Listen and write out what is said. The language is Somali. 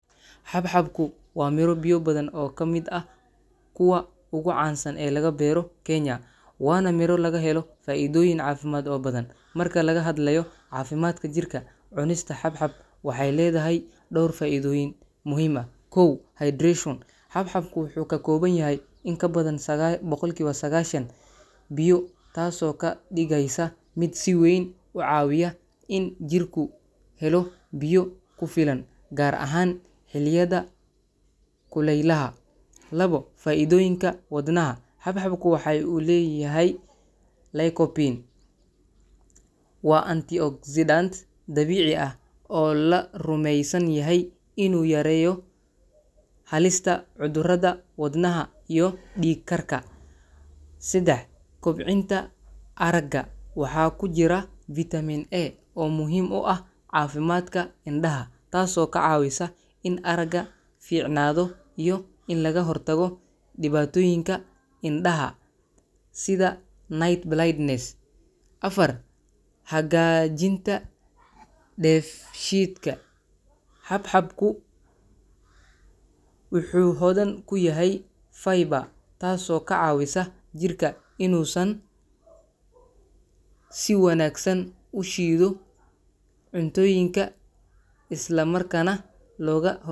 Xabxabku waa miro biyo badan oo ka mid ah kuwa ugu caansan ee laga beero Kenya, waana miro laga helo faa’iidooyin caafimaad oo badan. Marka laga hadlayo caafimaadka jirka, cunista xabxab waxay leedahay dhowr faa’iidooyin muhiim ah: kow; Hydration – Xabxabku wuxuu ka kooban yahay in ka badan 90% biyo, taasoo ka dhigaysa mid si weyn u caawiya in jirku helo biyo ku filan, gaar ahaan xilliyada kulaylaha. labor; Faa’iidooyinka Wadnaha – Xabxabku waxa uu leeyahay lycopene, waa antioxidant dabiici ah oo la rumeysan yahay inuu yareeyo halista cudurrada wadnaha iyo dhiig-karka. sedax; Kobcinta Aragga – Waxaa ku jira Vitamin A oo muhiim u ah caafimaadka indhaha, taasoo ka caawisa in aragga fiicnaado iyo in laga hortago dhibaatooyinka indhaha sida night blindness. afar; Hagaajinta Dheefshiidka – Xabxabku wuxuu hodan ku yahay fiber, taasoo ka caawisa jirka inuu si wanaagsan u shiido cuntooyinka, isla markaana looga ho.